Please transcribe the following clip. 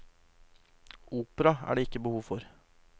Opera er det ikke behov for.